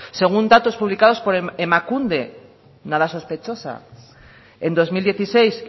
según datos publicados por emakunde nada sospechosa en dos mil dieciséis